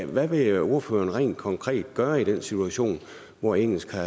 hvad vil ordføreren rent konkret gøre i den situation hvor engelsk har